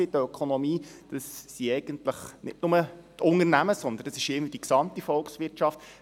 Die Ökonomie, das sind nicht nur die Unternehmen, das ist die gesamte Volkswirtschaft.